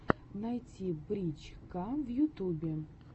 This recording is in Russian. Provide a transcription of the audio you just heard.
найти брич ка в ютубе